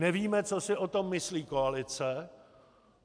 Nevíme, co si o tom myslí koalice.